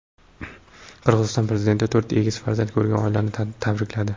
Qirg‘iziston prezidenti to‘rt egiz farzand ko‘rgan oilani tabrikladi.